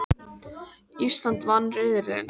Ísland vann riðilinn